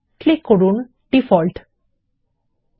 এরপরে ডিফল্ট বিকল্পে ক্লিক করুন